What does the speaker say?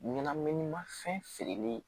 Ɲɛnaminimafɛn feereli